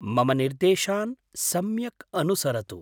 मम निर्देशान् सम्यक् अनुसरतु।